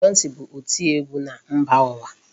Beyonce bụ oti ọgwụ na mba ụwa.